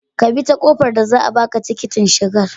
Ka bi ta kofar da za a baka tikiting shigar